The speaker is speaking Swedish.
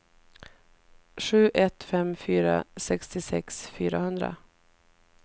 sju ett fem fyra sextiosex fyrahundra